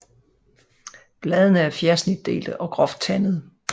Bladene er fjersnitdelte og groft tandede